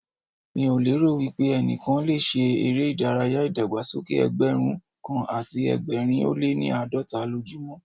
Mi ò lérò wípé ẹnikẹ́ni le ṣe eré ìdárayá ìdàgbàsókè Ẹgbẹ̀rún kan àti ẹgbẹ̀rin ó lé ní àádọ́ta lójú mọ́.